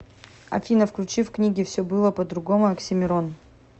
афина включи в книге все было по другому оксимирон